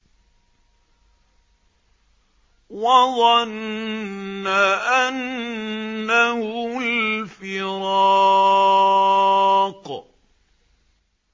وَظَنَّ أَنَّهُ الْفِرَاقُ